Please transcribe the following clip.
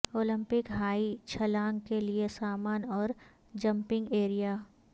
Olympic high چھلانگ کے لئے سامان اور جمپنگ ایریا